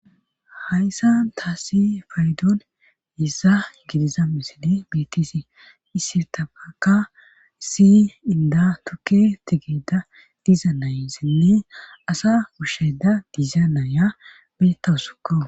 hayssan taassi faydon issa gidiza misili bittisi issirtafaka si inda tukke tigeda diizanayassinne asa wushshayda diza naaya bettawusukko